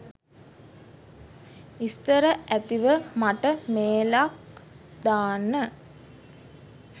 විස්තර ඇතිව මට මේලක් දාන්න.